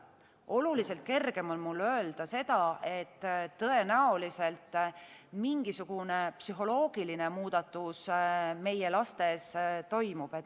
Oluliselt kergem on mul öelda seda, et tõenäoliselt mingisugune psühholoogiline muudatus meie lastes toimub.